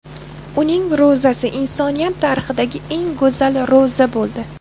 Uning ro‘zasi insoniyat tarixidagi eng go‘zal ro‘za bo‘ldi.